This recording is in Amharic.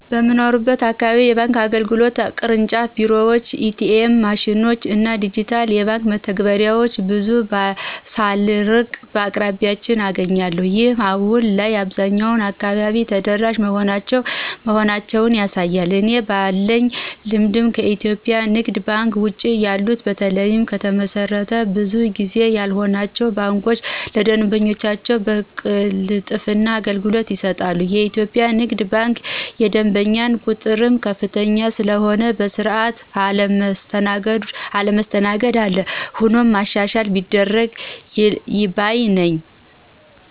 በምኖርበት አካባቢ የባንክ አገልግሎት (ቅርንጫፍ ቢሮዎችን፣ ኤ.ቲ.ኤም ማሽኖችን እና ዲጂታል የባንክ መተግበሪያዎችን ) ብዙ ሳልርቅ በአቅራቢያየ አገኛለሁ። ይህም አሁን ላይ በአብዛኛው አካባቢ ተደራሽ መሆናቸውን ያሳያል። እኔ ባለኝ ልምድ ከኢትዮጵያ ንግድ ባንክ ውጭ ያሉት በተለይም ከተመሰረቱ ብዙ ጊዜ ያልሆናቸው ባንኮች ለደንበኞቻቸው በቅልጥፍና አገልግሎት ይሰጣሉ። የኢትዮጵያ ንግድ ባንክ የደንበኛው ቁጥርም ከፍተኛ ስለሆነ በሰዓት አለመስተናገድ አለ። ሆኖም ማሻሻያ ቢደረግ ባይ ነኝ።